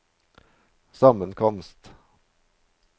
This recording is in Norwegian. sammenkomst